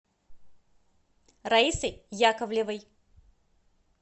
раисой яковлевой